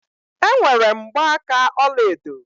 Enwere m mgbaaka ọlaedo.